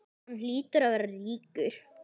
Hann hlýtur að vera ríkur.